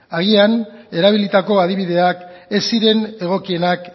agian erabilitako adibideak ez ziren egokienak